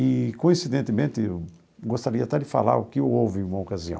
E coincidentemente, eu gostaria até de falar o que houve em uma ocasião.